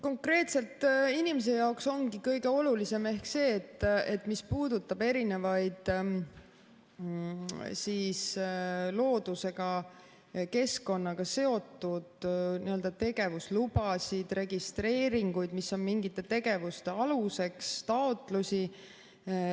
Konkreetselt inimese jaoks ongi kõige olulisem ehk see, mis puudutab erinevaid loodusega, keskkonnaga seotud tegevuslubasid, registreeringuid, mis on mingite tegevuste aluseks, taotlusi.